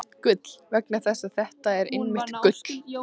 . gull- vegna þess að þetta er einmitt gull!